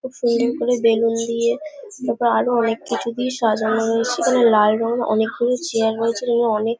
খুব সুন্দর করে বেলুন দিয়ে তারপরে আরো অনেক কিছু দিয়ে সাজানো রয়েছে। এখানে লাল রঙ অনেকগুলো চেয়ার রয়েছে এবং অনেক--